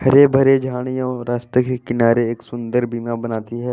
हरे भरे झाड़ियों रस्ते के किनारे एक सुंदर बनती है।